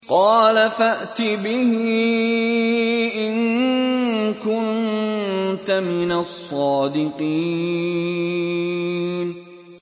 قَالَ فَأْتِ بِهِ إِن كُنتَ مِنَ الصَّادِقِينَ